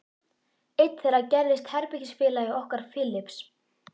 Einn þeirra gerðist herbergisfélagi okkar Philips.